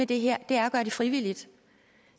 det her er at gøre det frivilligt